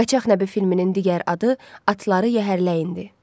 Qaçaq Nəbi filminin digər adı Atları Yəhərləyindir.